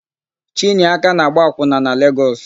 Chinyeaka na-agba akwụna na Legọs.